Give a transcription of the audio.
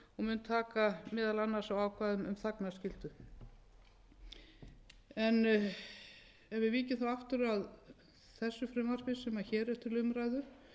un taka meðal annars á ákvæðum um þagnarskyldu ef við víkjum þá aftur að þessu frumvarpi sem hér er til umræðu þá má segja að